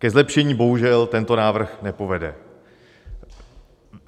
Ke zlepšení bohužel tento návrh nepovede.